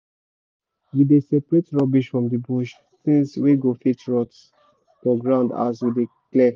we dey separate rubbish from the bush things wey go fit rot for ground as we dey clear